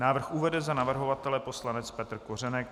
Návrh uvede za navrhovatele poslanec Petr Kořenek.